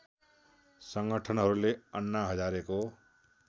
सङ्गठनहरूले अन्ना हजारेको